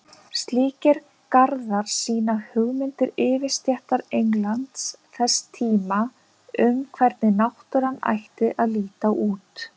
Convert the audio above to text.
Slíkir garðar sýna hugmyndir yfirstéttar Englands þess tíma um hvernig náttúran ætti að líta út.